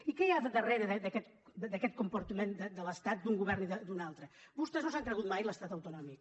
i què hi ha darrere d’aquest comportament de l’estat d’un govern i d’un altre vostès no s’han cregut mai l’estat autonòmic